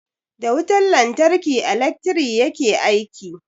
Da wutar lantarki ilekri yake aiki.